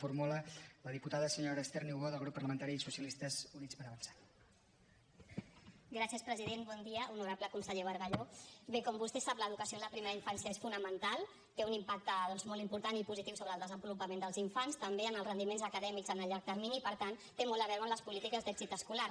bon dia honorable conseller bargalló bé com vostè sap l’educació en la primera infància és fonamental té un impacte doncs molt important i positiu sobre el desenvolupament dels infants també en els rendiments acadèmics en el llarg termini i per tant té molt a veure amb les polítiques d’èxit escolar